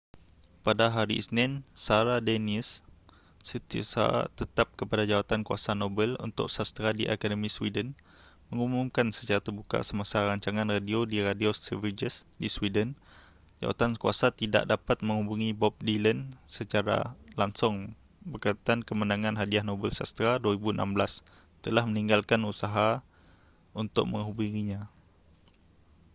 pada hari isnin sara danius setiausaha tetap kepada jawatankuiasa nobel untuk sastera di akademi sweden mengumumkan secara terbuka semasa rancangan radio di radio sveriges di sweden jawatankuasa tidak dapat mengubungi bob dylan secara langsung berkaitan kemenangan hadiah nobel sastera 2016 telah meninggalkan usaha untuk menhgubunginya